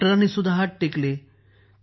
डॉक्टरानीही हात टेकले